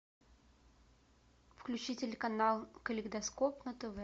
включи телеканал калейдоскоп на тв